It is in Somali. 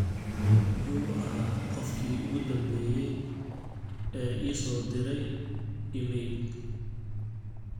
yu ahaa qofkii ugu dambeeyay ee ii soo direy iimayl